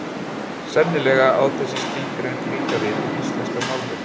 Sennilega á þessi skilgreining líka við um íslenska málvenju.